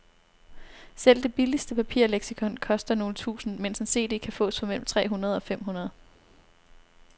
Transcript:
Selv det billigste papirleksikon koster nogle tusinde, mens en cd kan fås for mellem tre hundrede og fem hundrede.